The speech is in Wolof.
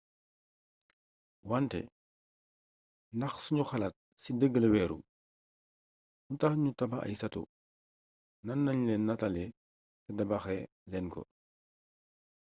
wante ndax sunu xalaat ci dëgg la wéeru lu tax nu tabax ay sato nan lañ leen nataale te tabaxee leen ko